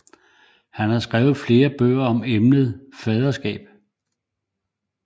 Han har skrevet flere bøger om emnet faderskab